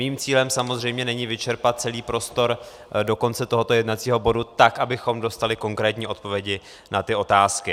Mým cílem samozřejmě není vyčerpat celý prostor do konce tohoto jednacího bodu tak, abychom dostali konkrétní odpovědi na ty otázky.